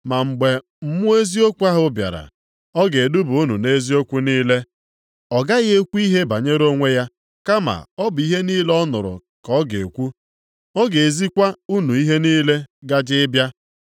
Ma mgbe Mmụọ eziokwu ahụ bịara, ọ ga-eduba unu nʼeziokwu niile. Ọ gaghị ekwu ihe banyere onwe ya, kama ọ bụ ihe niile ọ nụrụ ka ọ ga-ekwu. Ọ ga-ezikwa unu ihe niile gaje ịbịa.